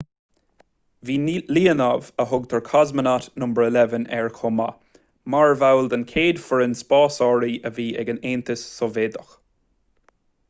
bhí leonov a thugtar cosmonaut no 11 ar chomh maith mar bhall den chéad fhoireann spásairí a bhí ag an aontas sóivéadach